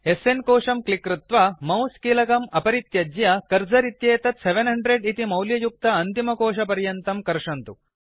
स्न कोशं क्लिक् कृत्वा मौस् कीलकम् अपरित्यज्य कर्सर् इत्येतत् 700 इति मौल्ययुक्त अन्तिमकोषपर्यन्तं कर्षन्तु